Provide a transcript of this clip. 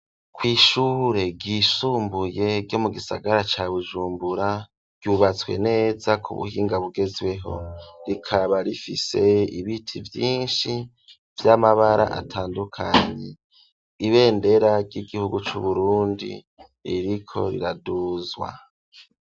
Kw'ishure ryisumbuye ryo mu gisagara ca bujumbura ryubatswe neza ku buhinga bugezweho rikaba rifise ibiti byinshi by'amabara atandukanye ibendera ry'igihugu c'uburundi ririko riraduzwa.